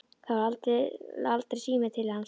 Það var aldrei síminn til hans.